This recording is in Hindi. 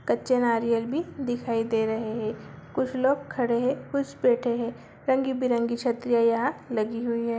कच्चा नारियल भी दिखाई दे रहे हैं कुछ लोग खड़े हैं कुछ लोग बैठे हैं रंग-बिरंगी छतरी यहाँ लगी हुई है।